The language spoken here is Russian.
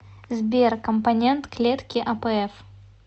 сбер компонент клетки апф